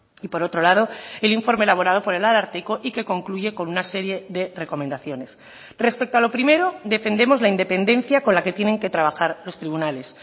y por otro lado el informe elaborado por el ararteko y que concluye con una serie de recomendaciones respecto a lo primero defendemos la independencia con la que tienen que trabajar los tribunales